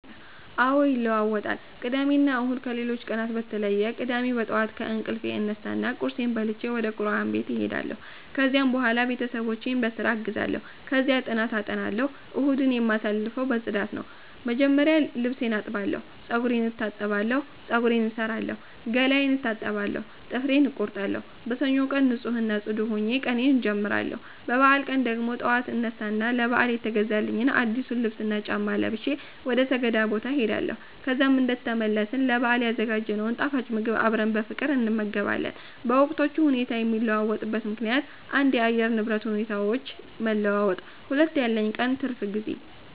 አዎ ይለዋወጣል ቅዳሜና እሁድ ከሌሎቹ ቀናት በተለየ ቅዳሜ በጠዋት ከእንቅልፌ እነሳና ቁርሴን በልቼ ወደቁርአን ቤት እሄዳለሁ፤ ከዚያም በኋላ ቤተሰቦቼን በስራ አግዛለሁ፣ ከዚያ ጥናት አጠናለሁ። እሁድን የማሳልፈው በፅዳት ነው፣ መጀመሪያ ልብሴን አጥባለሁ፤ ጸጉሬን እታጠባለሁ፤ ፀጉሬን እሠራለሁ፣ ገላዬን እታጠባለሁ፣ ጥፍሬን እቆርጣለሁ። በሰኞው ቀን ንፁህ እና ጽዱ ሆኜ ቀኔን አጀምራለሁ። በበዓል ቀን ደግሞ ጠዋት አነሳ እና ለበዓል የተገዛልኝን አዲሱን ልብስና ጫማ ለብሼ ወደ ሰገዳ ቦታ እሄዳለሁ። ከዛም እንደተመለስ ለበአል ያዘጋጀነውን ጣፋጭ ምግብ አብረን በፍቅር እንመገባለን። በወቅቶቹ ሁኔታ የሚለዋወጥበት ምከንያት 1. የአየር ንብረት ሁኔታዎች መለዋወጥ 2. ያለኝ የቀን ትርፍ ጊዜ